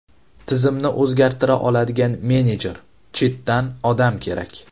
Tizimni o‘zgartira oladigan menejer, chetdan odam kerak.